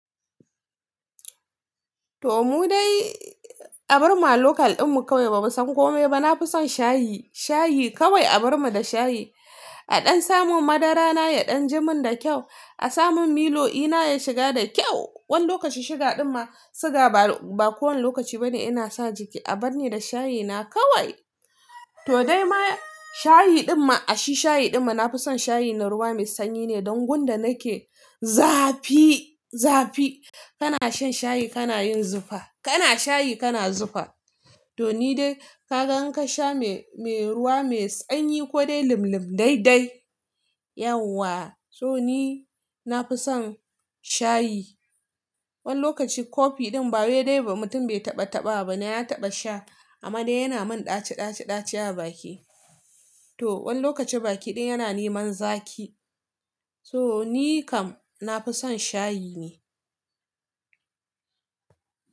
To mu dai abar mu a local dinmu kawai ba mu san komai ba. Na fi son shayi, shayi kawai abar ma da shayi. A dan samun madara na ya danji mun da kyau, a samun milo eh na ya shiga da kyau. Wani lokaci shuga din ma siga ba kowan lokaci bane ina sa jiki, abar ni da shayi na kawai. To dai ma shayi din ma, a shi shayi din ma na fi son shayi da ruwa mai sanyi ne. Don gun da nake zafi, zafi. Kana shan shayi kana yin zufa, kana shayi kana zufa. To ni dai ka gan in ka sha me, me ruwa mai sanyi ko dai lim-lim dai dai. Yauwa, so ni na fi son shayi. Wani lokaci kofi din ba waye dai ba mutum bai taɓa taɓa ba ne ya taɓa sha. Amma dai yana mun ɗaci-ɗaci-ɗaci a baki. To wani lokaci baki din yana niman zaki. So ni kam na fi son shayi ne.